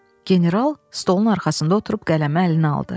General stolun arxasında oturub qələmi əlinə aldı.